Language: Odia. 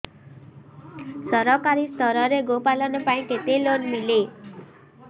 ସରକାରୀ ସ୍ତରରେ ଗୋ ପାଳନ ପାଇଁ କେତେ ଲୋନ୍ ମିଳେ